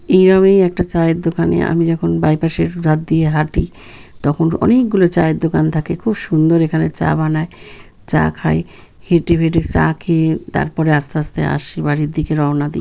এইরমী একটা চায়ের দোকানে আমি যখন বাইপাস -এর ধার দিয়ে হাঁটি . তখন অনেকগুলো চায়ের দোকান থাকে খুব সুন্দর এখানে চা বানায় চা খায় হেঁটে ফেটে চা খেয়ে তারপরে আস্তে আস্তে আসি বাড়ির দিকে রওনা দি।